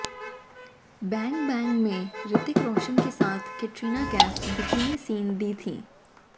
bang Bang में ऋतिक रोशन के साथ कैटरीना कैफ बिकिनी सीन दी थीं